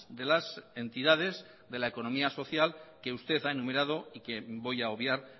de las entidades de la economía social que usted ha enumerado y que voy a obviar